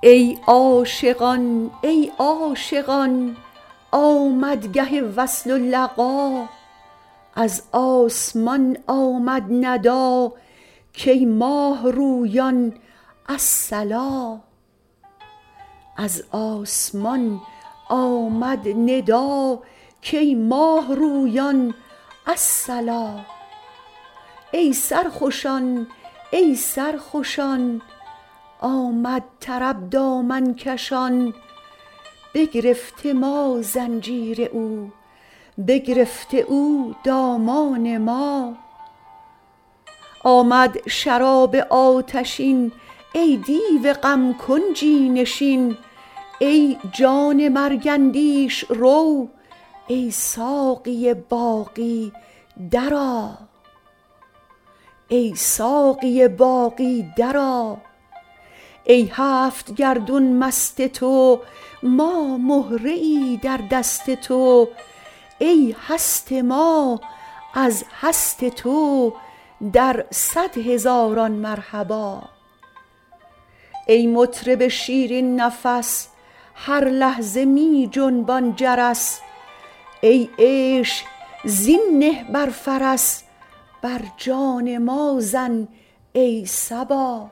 ای عاشقان ای عاشقان آمد گه وصل و لقا از آسمان آمد ندا کای ماه رویان الصلا ای سرخوشان ای سرخوشان آمد طرب دامن کشان بگرفته ما زنجیر او بگرفته او دامان ما آمد شراب آتشین ای دیو غم کنجی نشین ای جان مرگ اندیش رو ای ساقی باقی درآ ای هفت گردون مست تو ما مهره ای در دست تو ای هست ما از هست تو در صد هزاران مرحبا ای مطرب شیرین نفس هر لحظه می جنبان جرس ای عیش زین نه بر فرس بر جان ما زن ای صبا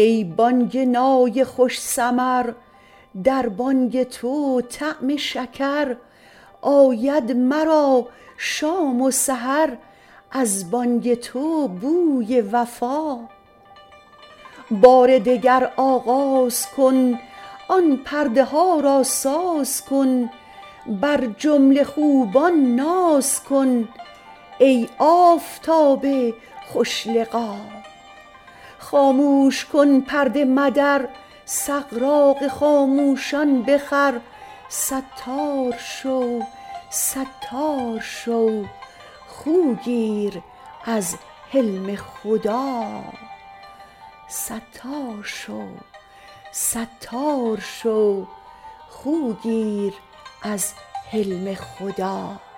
ای بانگ نای خوش سمر در بانگ تو طعم شکر آید مرا شام و سحر از بانگ تو بوی وفا بار دگر آغاز کن آن پرده ها را ساز کن بر جمله خوبان ناز کن ای آفتاب خوش لقا خاموش کن پرده مدر سغراق خاموشان بخور ستار شو ستار شو خو گیر از حلم خدا